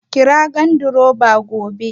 Kira gandiroba gobe